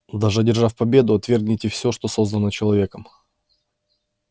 даже одержав победу отвергните всё что создано человеком